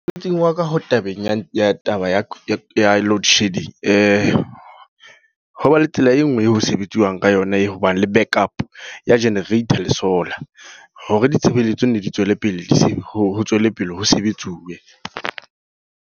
Mosebetsing wa ka, ho tabeng ya ya taba ya load shedding. Ho ba le tsela e nngwe eo ho sebetsiwang ka yona, e hobane le back up ya generator le solar. Hore ditshebeletso ne di tswele pele, ho tswelepele ho sebetsuwe.